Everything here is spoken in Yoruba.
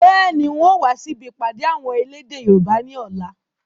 Bẹ́ẹ̀ni, ń ò wa si ibi ìpàdé àwọn elédè Yorùbá ni ọ̀la